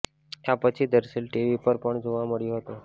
આ પછી દર્શીલ ટીવી પર પણ જોવા મળ્યો હતો